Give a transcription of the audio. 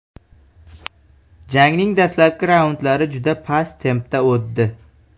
Jangning dastlabki raundlari juda past tempda o‘tdi.